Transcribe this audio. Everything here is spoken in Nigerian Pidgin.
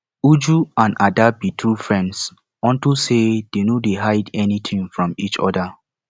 uju and ada be true friends unto say dey no dey hide anything from each other